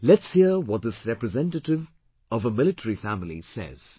Let's hear what this representative of a military family says